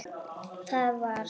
Það var.